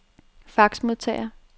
faxmodtager